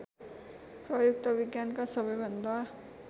प्रयुक्त विज्ञानका सबैभन्दा